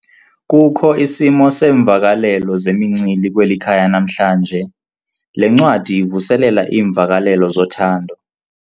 Kukho isimo seemvakalelo zemincili kweli khaya namhlanje. le ncwadi ivuselela iimvakalelo zothando